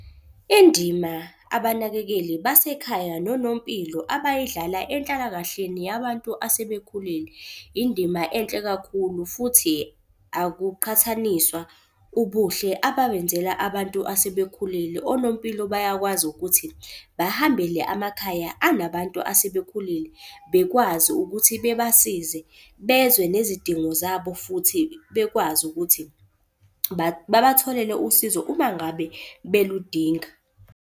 Indima abanakekeli basekhaya nonompilo abayidlala enhlalakahleni yabantu asebekhulile, indima enhle kakhulu futhi akuqhathaniswa ubuhle ababenzela abantu asebekhulile. Onompilo bayakwazi ukuthi bahambele amakhaya anabantu asebekhulile bekwazi ukuthi bebasize bezwe nezidingo zabo futhi bekwazi ukuthi babatholele usizo uma ngabe beludinga.